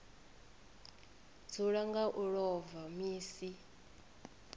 dzula nga u ḽova misi